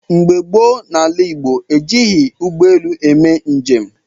Mgbe gboo n’ala Igbo, ejighị ụgbọelu eme njem.